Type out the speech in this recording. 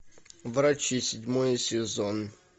врачи седьмой сезон